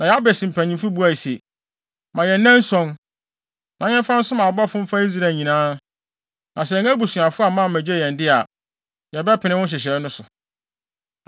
Na Yabes mpanyin no buae se, “Ma yɛn nnanson, na yɛmfa nsoma abɔfo mfa Israel nyinaa, na sɛ yɛn abusuafo amma ammegye yɛn de a, yɛbɛpene wo nhyehyɛe no so.”